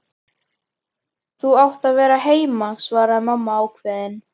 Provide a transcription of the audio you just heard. Þú átt að vera heima, svaraði mamma ákveðin.